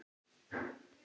Við getum þetta.